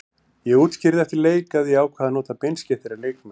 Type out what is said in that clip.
Ég útskýrði eftir leik að ég ákvað að nota beinskeyttari leikmenn.